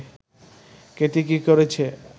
কেটে কী করেছে